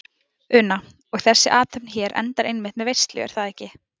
Una: Og þessi athöfn hér endar einmitt með veislu er það ekki?